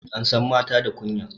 Ansan mata da kunya